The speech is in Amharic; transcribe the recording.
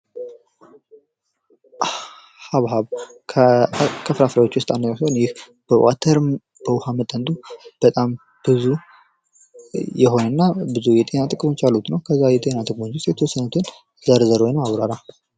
ሀብሀብ ከፍራፍሬዎች ውስጥ አንደኛው ሲሆን ይህ በውሃ መጠኑ ብዙ የሆነ እና ብዙ የጤና ጥቅሞች ያሉት ነው ።ከዛ የጤና ጥቅሞች ውስጥ የተወሰኑትን ዝርዝር ወይም አብራራ?